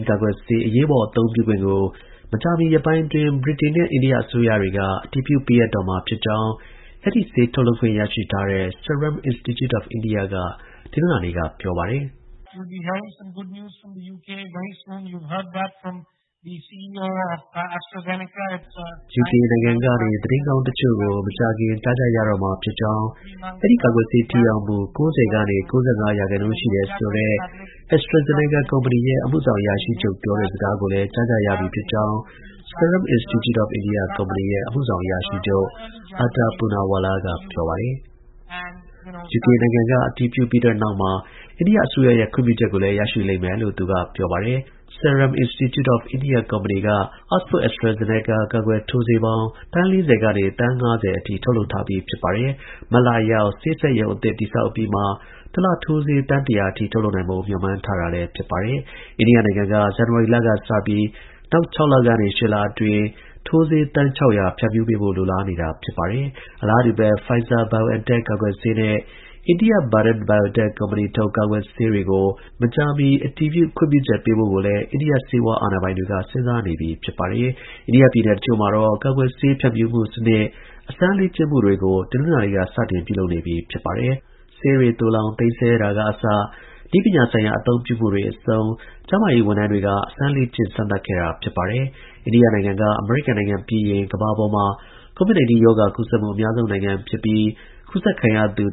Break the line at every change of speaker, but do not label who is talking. ကာကွယ်ဆေး အရေးပေါ် အသုံးပြုခွင့်ကို မကြာမီရက်ပိုင်းအတွင်း ဗြိတိန်နဲ့ အိန္ဒိယ အစိုးရတွေ အတည်ပြုပေးအပ်တော့မှာ ဖြစ်ကြောင်း အဲဒီ ဆေး ထုတ်လုပ်ခွင့် ရရှိထားတဲ့ Serum Institute of India က တနင်္လာနေ့က ပြောပါတယ်။
ယူကေနိုင်င
ံကနေ သတင်းကောင်းတစ်ချို့ကို မကြာခင် ကြားကြရတော့မှာ ဖြစ်ကြောင်း၊ အဲဒီ ကာကွယ်ဆေး ထိရောက်မှု ၉၀ ကနေ ၉၅ ရာခိုင်နှုန်း ရှိတယ်ဆိုတဲ့ AstraZeneca ကုမ္ပဏီရဲ့ အမှုဆောင် အရာရှိချုပ် ပြောတဲ့စကားကိုလည်း ကြားကြရပြီ ဖြစ်ကြောင်း Serum Institute of India ကုမ္ပဏီရဲ့ အမှုဆောင် အရာရှိချုပ် ADAR POONAWALLA က ပြောပါတယ်
။ ယူကေ
နိုင်ငံက
အတည်ပြုပြီးတဲ့နောက်မှာ အိန္ဒိယ အစိုးရရဲ့ ခွင့်ပြုချက်ကိုလည်း ရရှိလိမ့်မယ်လို့ သူက ပြောပါတယ်။ Serum Institute of India ကုမ္ပဏီက Oxford/AstraZeneca ကာကွယ်ဆေး ထိုးဆေးပေါင်း သန်း ၄၀ က သန်း ၅၀အထိထုတ်လုပ် ထားပြီး မတ်လအရောက် ဆေးစက်ရုံအသစ် တည်ဆောက်အပြီးမှာ တစ်လ ထိုးဆေး သန်း ၁၀၀ အထိ ထုတ်လုပ်နိုင်ဖို့ မျှော်မှန်း ထားပါတယ်။ အိန္ဒိယနိုင်ငံက ဇန်နဝါရီလက စပြီး နောက် ၆ လက ၈ လအတွင်း ထိုးဆေး သန်း ၆၀၀ ဖြန့်ဖြူးပေးဖို့ လိုလားနေတာပါ။ အလားတူပဲ Pfizer /BioNTech ကာကွယ်ဆေးနဲ့ အိန္ဒိယ Bharat Biotech ကုမ္ပဏီ ထုတ် ကာကွယ်ဆေးတွေကို မကြာမီ အတည်ပြု ခွင့်ပြုချက် ပေးဖို့ ကိုလည်း အိန္ဒိယ ဆေးဝါး အာဏာပိုင်တွေက စဉ်းစားနေပြီ ဖြစ်ပါတယ်။ အိန္ဒိယပြည်နည် တစ်ချို့မှာ ကာကွယ်ဆေး ဖြန့်ဖြူးမှု စနစ် အစမ်း လေ့ကျင့်မှုတွေ တနင်္လာနေ့က စတင်ပြုလုပ်နေပြီဖြစ်ပါတယ်။ ဆေးတွေသိုလှောင် သိမ်းဆည်းတာက အစ နည်းပညာဆိုင်ရာ အသုံးပြုမှုတွေ အဆုံး ကျန်းမာရေး ဝန်ထမ်းတွေက စမ်းသပ်စစ်ဆေး ခဲ့ပါတယ်။ အိန္ဒိယနိုင်ငံက အမေရိကန် ပြီးရင် ကမ္ဘာမှာ COVID 19 ရောဂါ ကူးစက်မှု အများဆုံး နိုင်ငံ ဖြစ်ပြီး ကူးစက်ခံရသူ